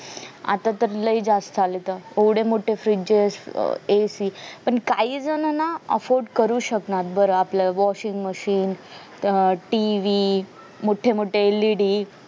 आता तय लय जास्त आलायत त एवढे मोठे fridges अह AC पण काही जण ना offered करू शकणार बर आपलं washing machine अह TV मोठे मोठे LED